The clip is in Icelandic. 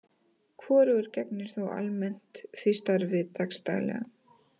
Hvorugur gegnir þó almennt því starfi dags daglega.